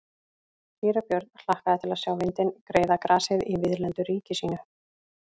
Síra Björn hlakkaði til að sjá vindinn greiða grasið í víðlendu ríki sínu.